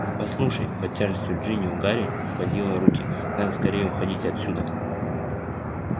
послушай под тяжестью джинни у гарри сводило руки надо скорее уходить отсюда